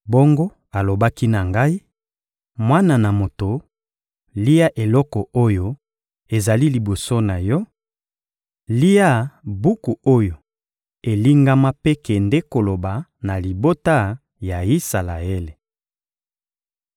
Bongo alobaki na ngai: «Mwana na moto, lia eloko oyo ezali liboso na yo, lia buku oyo elingama mpe kende koloba na libota ya Isalaele.»